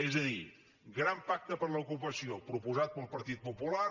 és a dir gran pacte per l’ocupació proposat pel partit popular